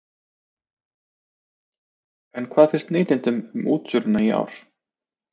En hvað finnst neytendum um útsölurnar í ár?